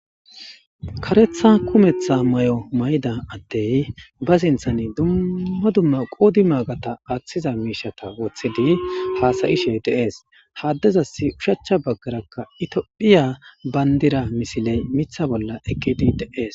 karetha kumetha mayo mayida addey ba sinthan dumma dumma qoodi maagata aaththiza miishata woththidi haasayishe deees haaddezasi ushachcha baggarakka itphiya bayndira misiley mitha bolla ekidi de7ees